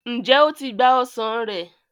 njé o tí gbà ọsán rẹ.